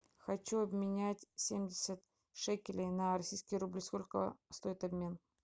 хочу обменять семьдесят шекелей на российский рубль сколько стоит обмен